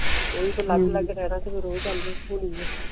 ਆਹੋ ਫਿਰ ਅਲਗ ਅਲਗ ਸ਼ੇਰਾਵਿਚ ਫਿਰ ਓਹੀ ਗਲ ਹੁੰਦੀ ਆ